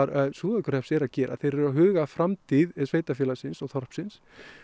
Súðavíkurhrepps eru að gera þeir eru að huga að framtíð sveitarfélagsins og þorpsins